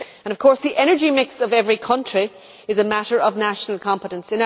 Of course the energy mix of every country is a matter of national competence.